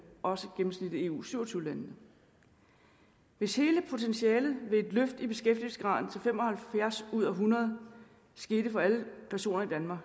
og også eu syv og tyve landene hvis hele potentialet ved et løft i beskæftigelsesgraden til fem og halvfjerds ud af hundrede skete for alle personer